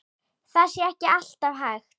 Það sé ekki alltaf hægt.